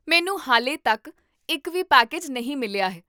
ਮੈਨੂੰ ਹਾਲੇ ਤੱਕ ਇੱਕ ਵੀ ਪੈਕੇਜ ਨਹੀਂ ਮਿਲਿਆ ਹੈ